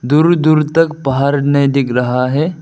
दूर दूर तक पहाड़ नहीं दिख रहा है।